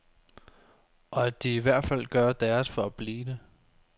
Og at de i hvert fald gør deres for at blive det.